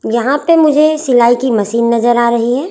यहां पे मुझे सिलाई की मशीन नजर आ रही है।